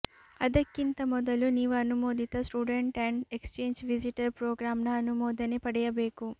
ಅದಕ್ಕಿಂತ ಮೊದಲು ನೀವು ಅನುಮೋದಿತ student and exchange visitor ಪ್ರೋಗ್ರಾಂನ ಅನುಮೋದನೆ ಪಡೆಯಬೇಕು